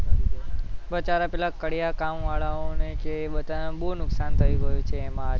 બચારા પેલા કડિયાકામ વાળાઓને છે બચારાને બોવ નુકસાન થઇ ગયું છે આજે